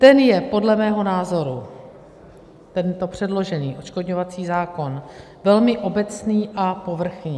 Ten je podle mého názoru, tento předložený odškodňovací zákon, velmi obecný a povrchní.